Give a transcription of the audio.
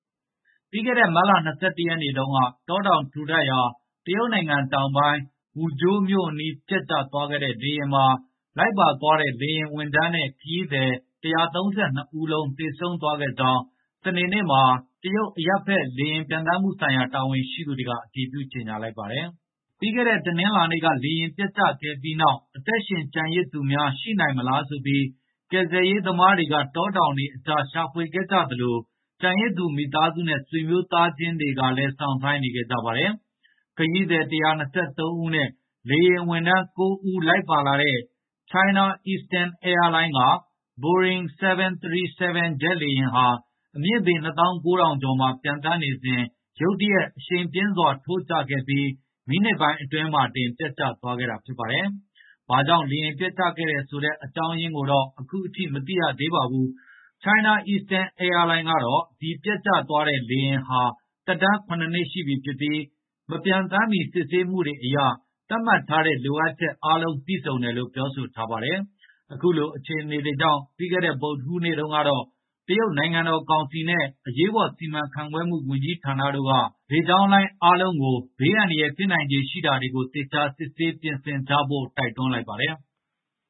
ပြီးခဲ့တဲ့ မတ်လ ၂၁ ရက်နေ့တုန်းက တောတောင်ထူထပ်ရာ တရုတ်နိုင်ငံတောင်ပိုင်း Wuzhou မြို့အနီး ပျက်ကျခဲ့တဲ့ လေယာဉ်မှာ လိုက်ပါသွားတဲ့ လေယာဉ်ဝန်ထမ်းနဲ့ ခရီးသည် ၁၃၂ ဦးလုံး သေဆုံးသွားခဲ့ကြောင်း စနေနေ့မှာ တရုတ် အရပ်ဘက် လေယာဉ်ပျံသန်းမှုဆိုင်ရာ တာဝန်ရှိသူတွေက အတည်ပြု ကြေညာလိုက်ပါတယ်။ ပြီးခဲ့တဲ့ တနင်္လာနေ့က လေယာဉ်ပျက်ကျခဲ့ပြီးနောက် အသက်ရှင်ကျန်ရစ်သူများ ရှိနိုင်မလားဆိုပြီး ကယ်ဆယ်ရေးသမားတွေက တောတောင်တွေကြားမှာ ရှာဖွေခဲ့ကြသလို ကျန်ရစ်သူမိသားစုနဲ့ ဆွေမျိုးသားချင်းတွေကလည်း စောင့်ဆိုင်းနေခဲ့ကြပါတယ်။ ခရီးသည် ၁၂၃ ဦးနဲ့ လေယာဉ်ဝန်ထမ်း ၉ ဦး လိုက်ပါလာတဲ့ China Eastern Airline က Boring 737 ဂျက်လေယာဉ်ဟာ အမြင့်ပေ ၂၉,၀၀၀ ကျော်မှာ ပျံသန်းနေစဉ် ရုတ်တရက် အရှိန်ပြင်းစွာ ထိုးကျခဲ့ပြီး မိနစ်ပိုင်းအတွင်းမှာတင် ပျက်ကျသွားခဲ့တာ ဖြစ်ပါတယ်။ ဘာကြောင့် လေယာဉ်ပျက်ကျခဲ့တယ်ဆိုတဲ့ အကြောင်းရင်းကိုတော့ အခုထိ မသိရသေးပါဘူး။ China Eastern Airline ကတော့ ဒီပျက်သွားတဲ့ ဂျက်လေယာဉ်ဟာ သက်တမ်း ၇ နှစ်ရှိပြီဖြစ်ပြီး မပျံသန်းမီ စစ်ဆေးမှုတွေအရ သတ်မှတ်ထားတဲ့ လိုအပ်ချက်အားလုံး ပြည့်စုံတယ်လို့ ပြောဆိုထားပါတယ်။ အခုလိုအခြေအနေကြောင့် ပြီးခဲ့တဲ့ ဗုဒ္ဓဟူးနေ့တုန်းက တရုတ်နိုင်ငံတော်ကောင်စီနဲ့ အရေးပေါ် စီမံခန့်ခွဲမှု ဝန်ကြီးဌာနတို့ကနေ လေကြောင်းလိုင်းအားလုံးကို ဘေးအန္တရာယ် ဖြစ်နိုင်ခြေရှိတာတွေကို သေချာစစ်ဆေးပြင်ဆင်ကြဖို့ တိုက်တွန်းလိုက်ပါတယ်။